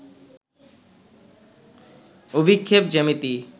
অভিক্ষেপ জ্যামিতি